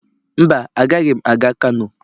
Mba, agaghị m aga kano.